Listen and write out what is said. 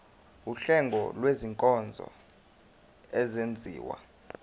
wuhlengo lwezinkonzo ezenziwa